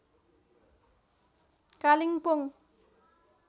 Kalimpong